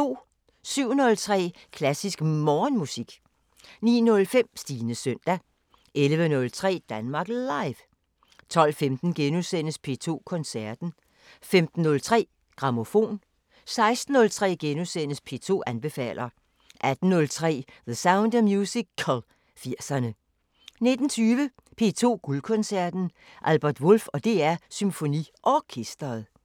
07:03: Klassisk Morgenmusik 09:05: Stines søndag 11:03: Danmark Live 12:15: P2 Koncerten * 15:03: Grammofon 16:03: P2 anbefaler * 18:03: The Sound of Musical – 80'erne 19:20: P2 Guldkoncerten: Albert Wolff og DR SymfoniOrkestret